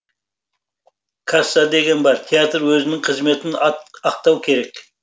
касса деген бар театр өзінің қызметін ақтауы керек